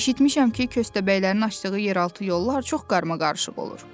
Eşitmişəm ki, köstəbəylərin açdığı yeraltı yollar çox qaramaqarışıq olur.